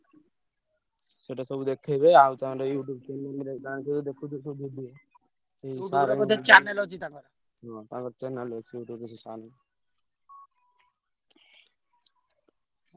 ସେଇଟା ସବୁ ଦେଖେଇବେ। ଆଉ ତାଙ୍କର YouTube channel ରେ ଗାଁକୁ ବି ହଁ ତାଙ୍କର channel ଅଛି YouTube ରେ ସେ sir ଙ୍କର।